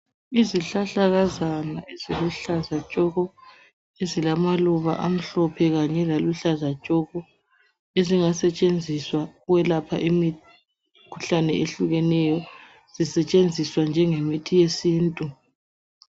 Izihlahlakazana eziluhlaza tshoko ezilamaluba amhlophe kanye laluhlaza tshoko ezingasetshenziswa ukwelapha imikhuhlane ehlukeneyo setshenziswa njengemithi yesintu.